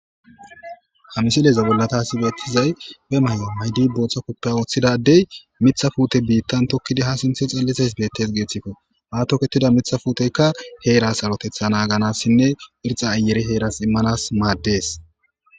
Hamisileeza bollata hasibeettizay be may'a maydi booththa koppe ooththidadey mitha puute biittan tokkidi ha sinthe xallises beettes geeththikko haatoketida mitha puuteykka heeras arotetha naaganassinne irxa ayere heeras immanas maaddees.